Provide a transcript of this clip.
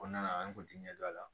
O kɔnɔna la an kun te ɲɛ dɔn a la